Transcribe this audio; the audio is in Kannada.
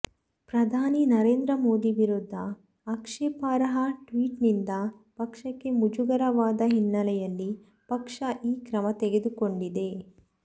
ಪ್ರಧಾನಿ ನರೇಂದ್ರ ಮೋದಿ ವಿರುದ್ಧ ಆಕ್ಷೇಪಾರ್ಹ ಟ್ವೀಟ್ನಿಂದ ಪಕ್ಷಕ್ಕೆ ಮುಜುಗರವಾದ ಹಿನ್ನೆಲೆಯಲ್ಲಿ ಪಕ್ಷ ಈ ಕ್ರಮ ತೆಗೆದುಕೊಂಡಿದೆ